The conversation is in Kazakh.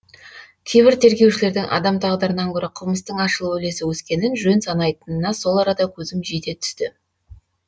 кейбір тергеушілердің адам тағдырынан гөрі қылмыстың ашылу үлесі өскенін жөн санайтынына сол арада көзім жете түсті